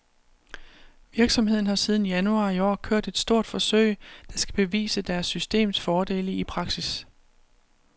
Virksomheden har siden januar i år kørt et stort forsøg, der skal bevise deres systems fordele i praksis.